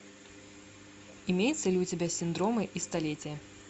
имеется ли у тебя синдромы и столетие